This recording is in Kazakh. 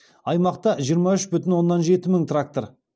аймақта жиырма үш бүтін оннан жеті мың трактор